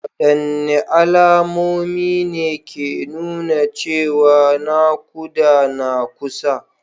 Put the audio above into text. Wadanne alamomi ne ke nuna cewa nakuda na kusa?